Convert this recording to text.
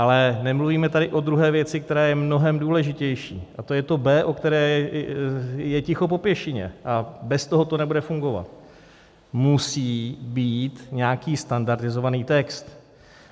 Ale nemluvíme tady o druhé věci, která je mnohem důležitější, a to je to B, o kterém je ticho po pěšině - a bez toho to nebude fungovat: musí být nějaký standardizovaný text.